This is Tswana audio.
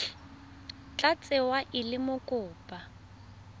tla tsewa e le mokopa